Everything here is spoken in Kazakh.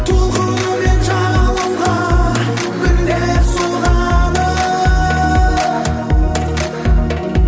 толқынымен жағалауға бірде соғады